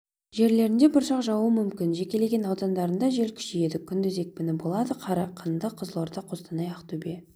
жерлерінде бұршақ жаууы мүмкін жекелеген аудандарында жел күшейеді күндіз екпіні болады қарағанды қызылорда қостанай ақтөбе